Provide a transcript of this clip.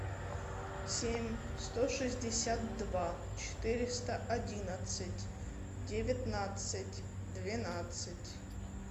семь сто шестьдесят два четыреста одиннадцать девятнадцать двенадцать